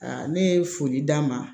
ne ye foli d'a ma